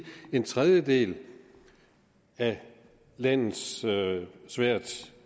en tredjedel af landets svært